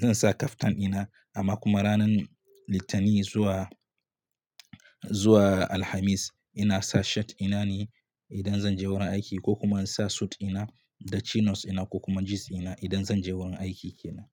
zan sa kaftan ɗina, amma kuma ranar Litani zuwa, zuwa Alhamis ina sa shirt ɗina ne idan zan je wurin aiki ko kuma in sa suit ɗina da chinos ina ko kuma jeans ina idan zan je wurin aiki kenan.